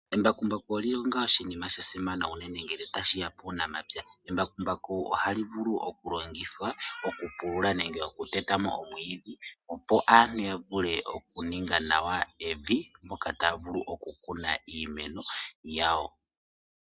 Embakumbaku olili onga oshinima shasimana uunene ngele tashiya kuunamapya. Embakumbaku ohali vulu okulongithwa okupulula nenge okuteta mo omwiidhi opo aantu yavule okuninga nawa evi moka taya vulu okukuna iimeno yawo.